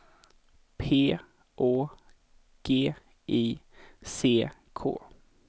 P Å G I C K